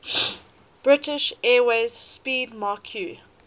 british airways 'speedmarque